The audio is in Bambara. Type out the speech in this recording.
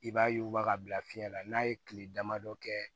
I b'a yuguba ka bila fiɲɛ la n'a ye kile damadɔ kɛ